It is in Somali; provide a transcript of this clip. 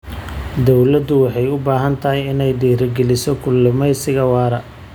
Dawladdu waxay u baahan tahay inay dhiirigeliso kalluumaysiga waara.